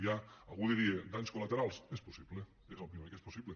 hi ha algú diria danys col·laterals és possible òbviament que és possible